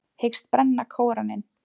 Hyggst brenna Kóraninn